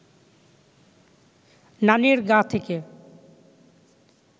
নানির গা থেকে